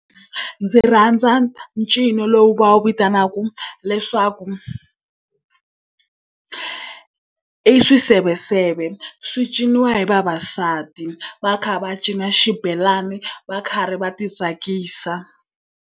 Ndzi rhandza ncino lowu va wu vitanaka leswaku i swiseveseve. Swi ciniwa hi vavasati va kha va cina xibelani va karhi va ti tsakisa.